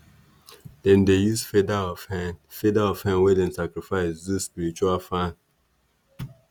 dem dey use feather of hen feather of hen wey dem sacrifice do spiritual fan.